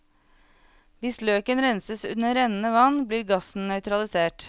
Hvis løken renses under rennende vann, blir gassen nøytralisert.